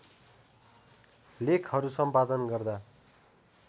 लेखहरु सम्पादन गर्दा